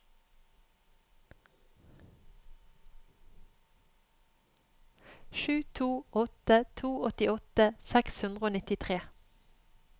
sju to åtte to åttiåtte seks hundre og nittitre